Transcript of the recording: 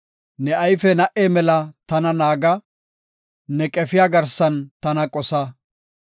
Ne ayfe na77e mela tana naaga; ne qefiya garsan tana qosa.